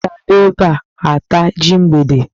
Ewu ga-abịa ebe a taa ji mgbede.